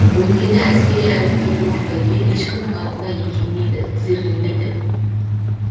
өйткені әскери әлеуеті мықты ел ешкімнің алдында еңкеймейді тізерлемейді